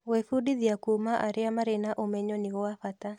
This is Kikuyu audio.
Gwĩbundithia kuuma arĩa marĩ na ũmenyo nĩ gwa bata.